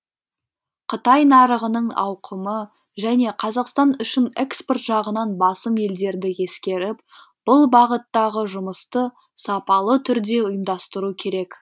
қытай нарығының ауқымы және қазақстан үшін экспорт жағынан басым елдерді ескеріп бұл бағыттағы жұмысты сапалы түрде ұйымдастыру керек